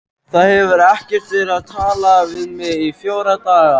Það hefur ekkert verið talað við mig í fjóra daga.